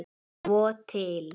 Svo til?